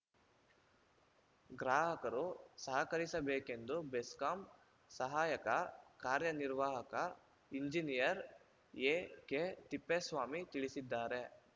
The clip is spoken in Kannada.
ಗ್ರಾಹಕರು ಸಹಕರಿಸಬೇಕೆಂದು ಬೆಸ್ಕಾಂ ಸಹಾಯಕ ಕಾರ್ಯ ನಿರ್ವಾಹಕ ಇಂಜಿನಿಯರ್‌ ಎಕೆತಿಪ್ಪೇಸ್ವಾಮಿ ತಿಳಿಸಿದ್ದಾರೆ